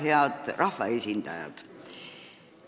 Head rahvaesindajad!